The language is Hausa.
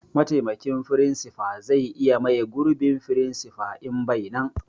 Mataimakin firinsifa zai iya mai gurbin firinsifa in bai nan